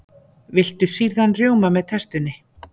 Viltu sýrðan rjóma með tertunni?